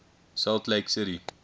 salt lake city